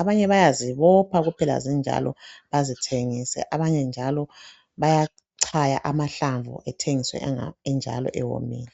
abanye bayazibopha kuphela nje zinjalo bazithengise abanye njalo bayachaya amahlamvu bathengise enjalo ewomile.